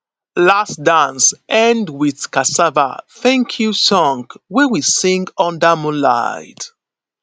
last dance end with cassava thankyou song wey we sing under moonlight